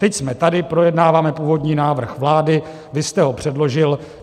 Teď jsme tady, projednáváme původní návrh vlády, vy jste ho předložil.